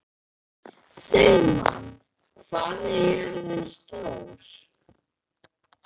Sigmann, hvað er jörðin stór?